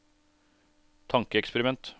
tankeeksperiment